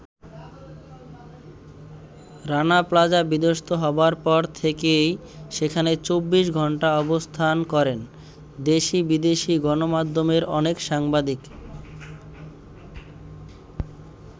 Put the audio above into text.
Rana plaza বিধ্বস্ত হবার পর থেকেই সেখানে ২৪ ঘন্টা অবস্থান করেন দেশি-বিদেশি গণমাধ্যমের অনেক সাংবাদিক।